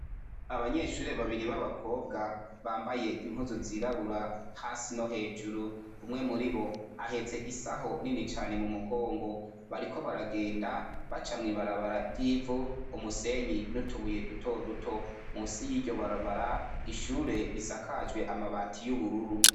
Abanyeshure babiri b' abakobwa bambaye impuzu zirabura hasi no hejuru, umwe muribo ahetse isaho nini cane mumugongo, bariko baragenda baca mwibarabara ry' ivu umusenyi n' utubuye duto duto, musi y' iryo barabara ishure risakajwe amabati y' ubururu.